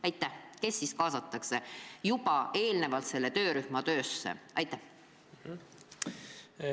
Aga kes siis kõigepealt selle töörühma töösse kaastakse?